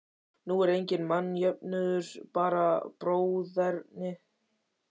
Nú er enginn mannjöfnuður, bara bróðerni.